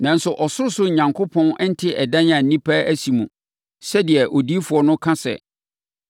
“Nanso, ɔsorosoro Onyankopɔn nte ɛdan a nnipa asi mu, sɛdeɛ odiyifoɔ no ka sɛ,